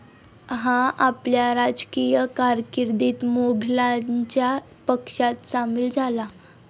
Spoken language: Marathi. हा आपल्या राजकीय कारकिर्दीत मोघलांच्या पक्षात सामील झाला.